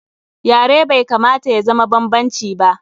Yare bai kamata ya zama banbanci ba.